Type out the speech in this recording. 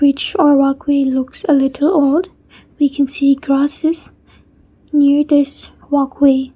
it show a walkway looks little odd we can see grasses new tests walkway.